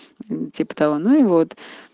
ну типа того ну и вот